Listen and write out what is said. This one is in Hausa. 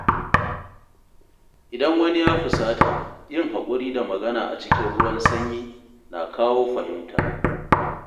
Idan wani ya fusata, yin haƙuri da magana a cikin ruwan sanyi na kawo fahimta.